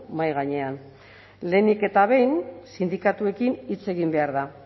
mahai gainean lehenik eta behin sindikatuekin hitz egin behar da